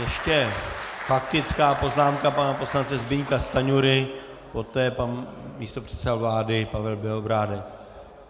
Ještě faktická poznámka pana poslance Zbyňka Stanjury, poté pan místopředseda vlády Pavel Bělobrádek.